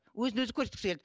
өзін өзі көрсеткісі келеді